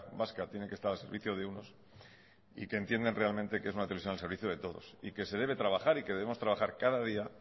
vasca tiene que estar al servicio de unos y que entienden realmente que es una televisión al servicio de todos y que se debe trabajar y que debemos trabajar cada día